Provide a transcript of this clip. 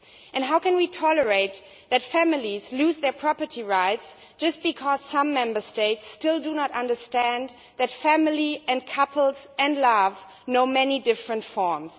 And how can we tolerate families losing their property rights just because some Member States still do not understand that family and couples and love know many different forms?